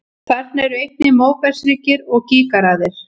Þarna eru einnig móbergshryggir og gígaraðir.